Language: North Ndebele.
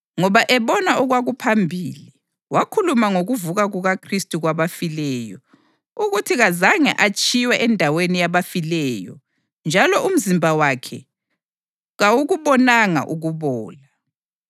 Ngoba ebona okwakuphambili, wakhuluma ngokuvuka kukaKhristu kwabafileyo, ukuthi kazange atshiywe endaweni yabafileyo njalo umzimba wakhe kawukubonanga ukubola.